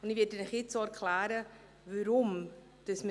Ich werde Ihnen jetzt auch erklären, weshalb wir das tun.